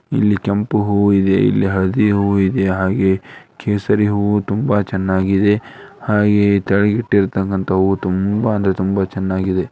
ಇಲ್ಲಿ ಕೆಂಪು ಹೂ ಇದೆ ಇಲ್ಲಿ ಹಳದಿ ಹು ಇದೆ ಹಾಗೆ ಕೇಸರಿ ಹು ತುಂಬಾ ಚೆನ್ನಾಗಿದೆ ಹಾಗೆ ಕೆಳಗಿಟ್ಟುತಕ್ಕಂತಹ ಹು ತುಂಬಾ ಅಂದ್ರೆ ತುಂಬಾ ಚೆನ್ನಾಗಿದೆ.